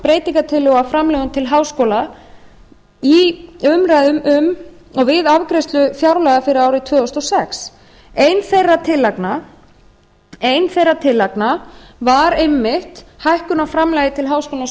breytingartillögu á framlögum til háskóla í umræðum um og við afgreiðslu fjárlaga fyrir árið tvö þúsund og sex ein þeirra tillagna var einmitt hækkun á framlagi til háskólans á